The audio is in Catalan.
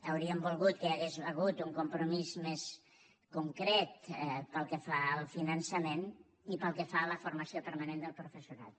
hauríem volgut que hi hagués hagut un compromís més concret pel que fa al finançament i pel que fa a la formació permanent del professorat